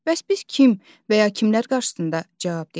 Bəs biz kim və ya kimlər qarşısında cavabdehik?